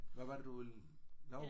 Hvad var det du ville lave?